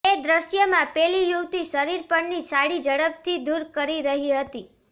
એ દૃશ્યમાં પેલી યુવતી શરીર પરની સાડી ઝડપથી દૂર કરી રહી હતી